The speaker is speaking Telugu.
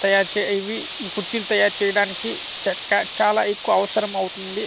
తయారు చే ఇవి ఈ కుర్చీలు తయారు చేయడానికి చెక్క చాలా ఎక్కువ అవసరం అవుతుంది.